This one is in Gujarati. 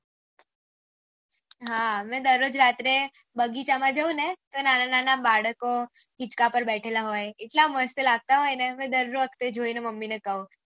હા મેં દરરોજ રાત્રે બગીચા માં જાઉં ને તો નાના નાના બાળકો હીચકા પર બેઠેલા હોય એટલા મસ્ત લગતા હોય ને મેં દર્ર વખતે જોયને મામ્મું ને કહ્ય